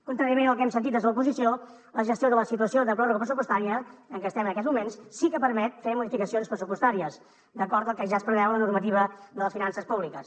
contràriament al que hem sentit des de l’oposició la gestió de la situació de pròrroga pressupostària en què estem en aquests moments sí que permet fer modificacions pressupostàries d’acord al que ja es preveu a la normativa de les finances públiques